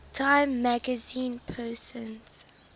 time magazine persons